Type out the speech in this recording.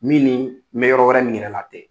Min ni me yɔrɔ wɛrɛ min yɛrɛ la tɛ.